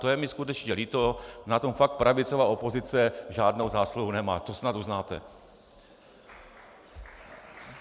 To je mi skutečně líto, na tom fakt pravicová opozice žádnou zásluhu nemá, to snad uznáte.